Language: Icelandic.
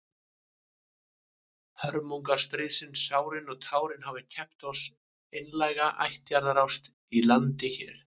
Hörmungar stríðsins, sárin og tárin, hafa keypt oss einlæga ættjarðarást í landi hér.